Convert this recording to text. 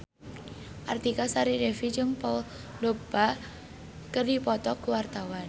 Artika Sari Devi jeung Paul Dogba keur dipoto ku wartawan